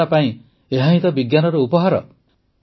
ମାନବତା ପାଇଁ ଏହାହିଁ ତ ବିଜ୍ଞାନର ଉପହାର